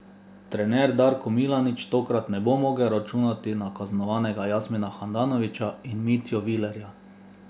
Trener Darko Milanič tokrat ne bo mogel računati na kaznovana Jasmina Handanovića in Mitjo Vilerja.